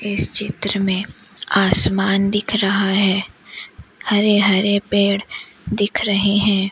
इस चित्र में आसमान दिख रहा है हरे हरे पेड़ दिख रहे हैं।